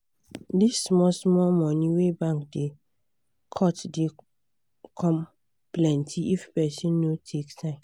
dis small small money wey bank da cut da come plenty if person no take time